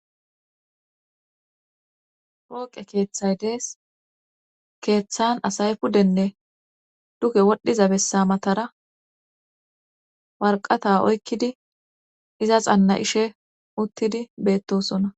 Pooqe keeththay dees keeththan asay pudenne duke wodhdhiza bessa matara warqata oykkidi iza xanna ishe uttidi beettosona.